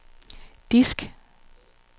disk